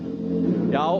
já